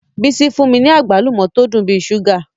Bisi fun mi ni agbalumo to dun bi ṣuga